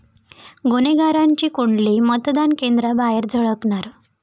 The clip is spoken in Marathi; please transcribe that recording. गुन्हेगारांची कुंडली मतदान केंद्रांबाहेर झळकणार